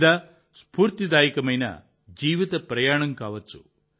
లేదా స్పూర్తిదాయకమైన జీవిత ప్రయాణం కావచ్చు